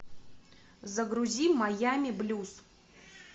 загрузи майами блюз